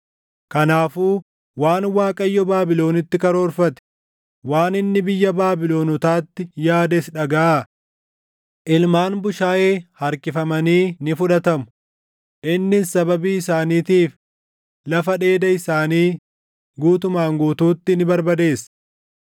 Kanaafuu waan Waaqayyo Baabilonitti karoorfate, waan inni biyya Baabilonotaatti yaades dhagaʼaa; Ilmaan bushaayee harkifamanii ni fudhatamu; innis sababii isaaniitiif lafa dheeda isaanii // guutumaan guutuutti ni barbadeessa.